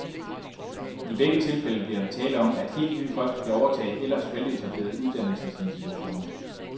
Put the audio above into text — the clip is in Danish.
I begge tilfælde bliver der tale om, at helt nye folk skal overtage ellers veletablerede uddannelsesinstitutioner.